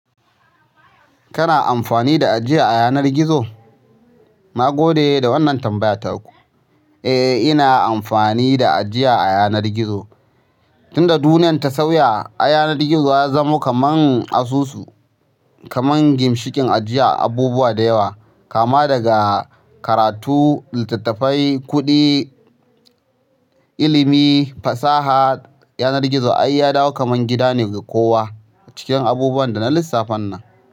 Kana amfani da ajiya a yanar gizo? Na gode da wannan tambaya taku. Eh, ina amfani da ajiya a yanar gizo. Tun da duniya ta sauya, ai yanar gizo ya zamo kaman asusu, kaman gimshiƙin ajiya abubuwa da yawa, kama daga karatu, littattafai, kuɗi, ilimi, fasaha. Yanar gizo ai ya dawo kamar gida ne ga kowa cikin abubuwan da na lissafan nan.